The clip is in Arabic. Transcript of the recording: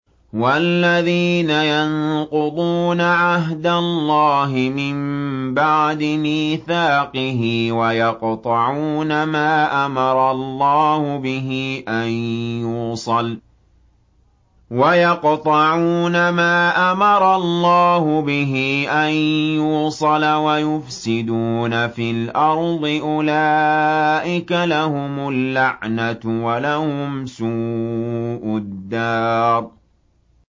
وَالَّذِينَ يَنقُضُونَ عَهْدَ اللَّهِ مِن بَعْدِ مِيثَاقِهِ وَيَقْطَعُونَ مَا أَمَرَ اللَّهُ بِهِ أَن يُوصَلَ وَيُفْسِدُونَ فِي الْأَرْضِ ۙ أُولَٰئِكَ لَهُمُ اللَّعْنَةُ وَلَهُمْ سُوءُ الدَّارِ